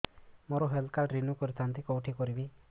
ମୋର health card renew କରିଥାନ୍ତି କୋଉଠି କରିବି